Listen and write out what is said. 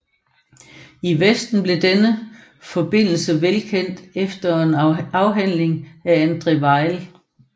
I Vesten blev denne forbindelse velkendt efter en afhandling af André Weil